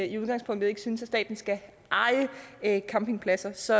i udgangspunktet ikke synes at staten skal eje campingpladser så